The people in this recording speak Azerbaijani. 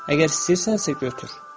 əgər istəyirsənsə, götür.